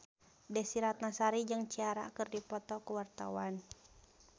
Desy Ratnasari jeung Ciara keur dipoto ku wartawan